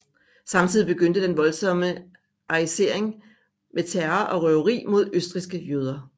Samtidig begyndte den voldsomme arisering med terror og røveri mod østrigske jøder